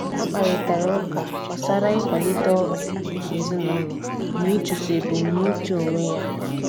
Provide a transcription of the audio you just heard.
Ha kparịtari ụka gbasara ịkwalite ọrụ ezinụlọ na ịchụso ebumnuche onwe ya.